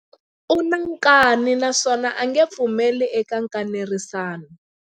U na nkani naswona a nge pfumeli eka nkanerisano.